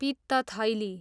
पित्त थैली